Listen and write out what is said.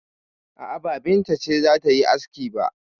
A'a, ba Binta ce za ta yi aski ba.